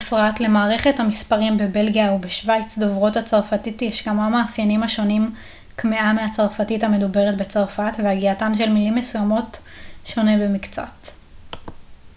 בפרט למערכת המספרים בבלגיה ובשווייץ דוברות הצרפתית יש כמה מאפיינים השונים קמעה מהצרפתית המדוברת בצרפת והגייתן של מילים מסוימות שונה במקצת